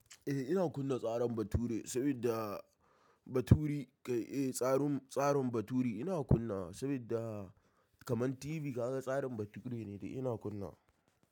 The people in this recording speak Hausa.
Eh ina kunna tsaran baturi saboda baturi kai eh tsarum tsarin baturi ina kunnawa sabidda kaman TV ka ga tsarin baturi ne de ina kunna.